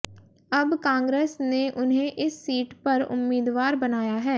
अब कांग्रेस ने उन्हें इस सीट पर उम्मीदवार बनाया है